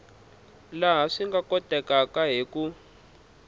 laha swi nga kotekaku hi